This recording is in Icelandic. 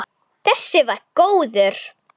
Þessi var góður!